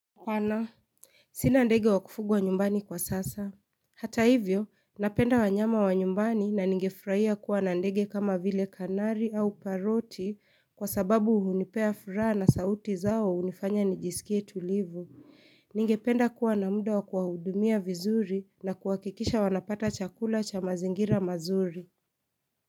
Hapana Sina ndege wakufugwa nyumbani kwa sasa Hata hivyo, napenda wanyama wa nyumbani na nige furaia kuwa na ndege kama vile kanari au paroti kwa sababu uhunipea furaa na sauti zao wa unifanya nijisikie tulivu. Ninge penda kuwa na muda wa kuwahudumia vizuri na kuakikisha wanapata chakula cha mazingira mazuri.